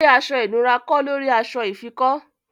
Gbè aṣọ̀ ìnùra kọ̀ lórí aṣọ̀ ìfikọ́!